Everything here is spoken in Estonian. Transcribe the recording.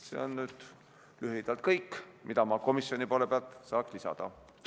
See on lühidalt kõik, mida ma komisjoni poole pealt saaks lisada.